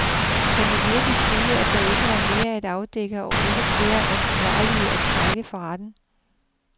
Kan vi virkelig sige, at der ikke er mere at afdække og ikke flere ansvarlige at trække for retten.